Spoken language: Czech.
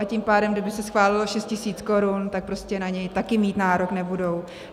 A tím pádem, kdyby se schválilo 6 tisíc korun, tak prostě na něj také mít nárok nebudou.